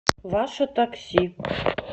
ваше такси